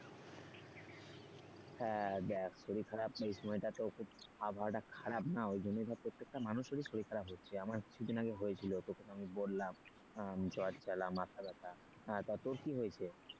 হ্যাঁ দেখ শরীর খারাপ তো এই সময়টা তো খুব আবহাওয়াটা খারাপ না ওই জন্য ধর প্রত্যেকটা মানুষেরই শরীর খারাপ হচ্ছে আমার কিছু দিন আগে হয়েছিল তোকে তো আমি বললাম জ্বর জ্বালা মাথা ব্যথা, তা তোর কি হয়েছে?